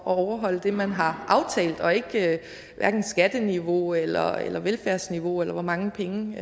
overholde det man har aftalt og ikke hverken skatteniveau eller eller velfærdsniveau eller hvor mange penge